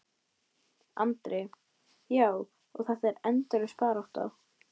Andri: Já, og þetta er endalaus barátta?